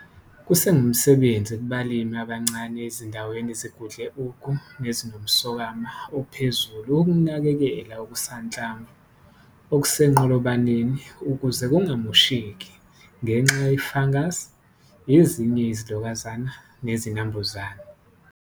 Kusengumsebenzi kubalimi abancane ezindaweni ezigudle ugu ezinomswakama ophezulu ukunakekela okusanhlamvu okusenqolobaneni ukuze kungamosheki ngenxa ye-fungus, ezinye izilokazana nezinambuzane.